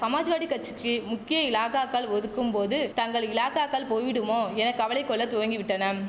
சமாஜ்வாடி கச்சிக்கி முக்கிய இலாகாக்கள் ஒதுக்கும் போது தங்கள் இலாகாக்கள் போய்டுமோ என கவலை கொள்ள துவங்கிவிட்டனம்